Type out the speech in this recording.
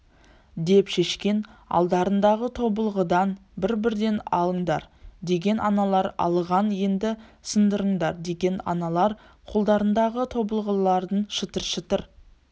деп шешкен алдарыңдағы тобылғыдан бір-бірден алыңдар деген аналар алған енді сындырыңдар деген аналар қолдарындағы тобылғыларын шытыр-шытыр